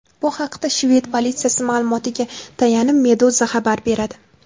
Bu haqda shved politsiyasi ma’lumotiga tayanib, Meduza xabar beradi .